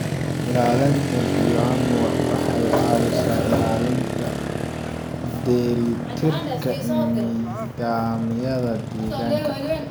Ilaalinta bioanuwa waxay caawisaa ilaalinta dheellitirka nidaamyada deegaanka.